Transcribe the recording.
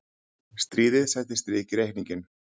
Stríðið setti strik í reikninginn.